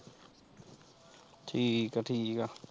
ਠੀਕ ਆ ਠੀਕ ਆ।